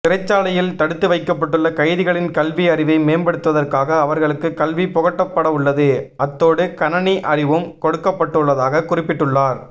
சிறைச்சாலையில் தடுத்து வைக்கப்பட்டுள்ள கைதிகளின் கல்வி அறிவை மேம்படுத்துவதற்காக அவர்களுக்கு கல்வி புகட்டப்படவுள்ளது அத்தோடு கணனி அறிவும் கொடுக்கப்படவுள்ளதாகக் குறிப்பிட்டுள்ளார்